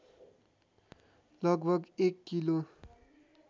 लगभग एक किलो